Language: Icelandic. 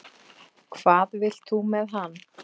Hvað vilt þú með hann?